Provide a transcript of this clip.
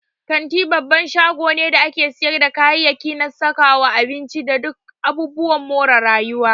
Kanti babban shago ne da ake siyarda kayayyaki na sakawa, abinci, da duk abubuwan more rayuwa.